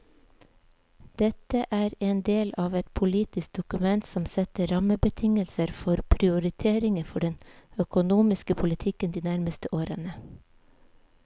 Dette er en del av et politisk dokument som setter rammebetingelser for prioriteringer for den økonomiske politikken de nærmeste årene.